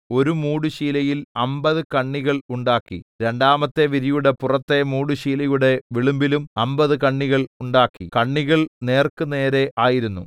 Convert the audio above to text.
ഒരു മൂടുശീലയിൽ അമ്പത് കണ്ണികൽ ഉണ്ടാക്കി രണ്ടാമത്തെ വിരിയുടെ പുറത്തെ മൂടുശീലയുടെ വിളുമ്പിലും അമ്പത് കണ്ണികൾ ഉണ്ടാക്കി കണ്ണികൾ നേർക്കുനേരെ ആയിരുന്നു